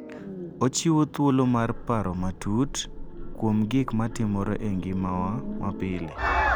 Ochiwo thuolo mar paro matut kuom gik matimore e ngimawa mapile.